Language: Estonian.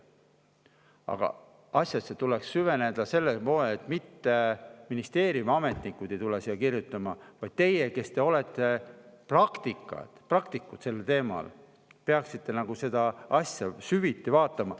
Aga asjasse tuleks süveneda sellel moel, et mitte ministeeriumiametnikud ei kirjuta, vaid teie, kes te olete praktikud sellel teemal, peaksite seda asja süviti vaatama.